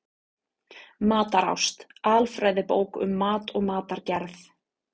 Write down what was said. Matarást: Alfræðibók um mat og matargerð.